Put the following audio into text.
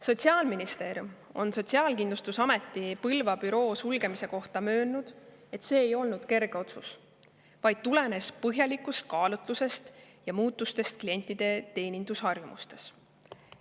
Sotsiaalministeerium on Sotsiaalkindlustusameti Põlva büroo sulgemist kommenteerides möönnud, et see ei olnud kerge otsus, vaid tulenes põhjalikust kaalutlusest ja muutustest klientide teenindusharjumustes.